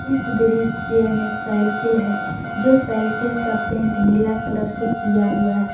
इस दृसय में साइकिल है जो साइकिल का पेंट नीला कलर से किया हुआ है।